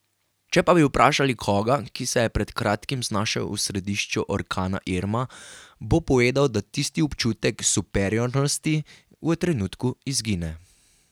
Če pa bi vprašali koga, ki se je pred kratkim znašel v središču orkana Irma, bo povedal, da tisti občutek superiornosti v trenutku izgine.